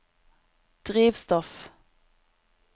drivstoff